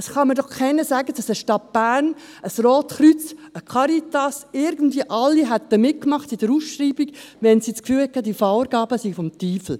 Es kann mir doch niemand sagen, dass eine Stadt Bern, ein Rotes Kreuz, eine Caritas irgendwie alle bei der Ausschreibung mitgemacht hätten, wenn sie das Gefühl gehabt hätten, dass diese Vorgaben des Teufels wären.